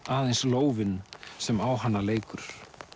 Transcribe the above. aðeins lófinn sem á hana leikur